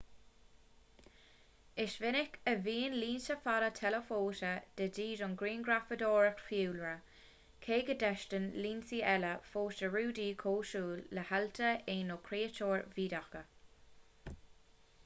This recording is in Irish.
is minic a bhíonn lionsa fada teileafóta de dhíth don ghrianghrafadóireacht fiadhúlra cé go dteastaíonn lionsaí eile fós do rudaí cosúil le healta éan nó créatúir bhídeacha